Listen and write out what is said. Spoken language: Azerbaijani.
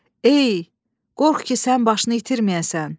Ey, qorx ki, sən başını itirməyəsən.